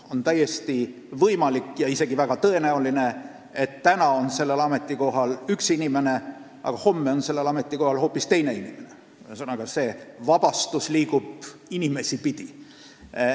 On täiesti võimalik ja isegi väga tõenäoline, et täna on sellel ametikohal üks inimene, aga homme hoopis keegi teine, ühesõnaga, see vabastus liigub inimesi pidi.